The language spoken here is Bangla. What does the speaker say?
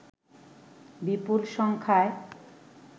বিপুল সংখ্যায়